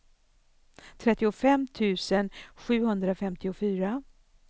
trettiofem tusen sjuhundrafemtiofyra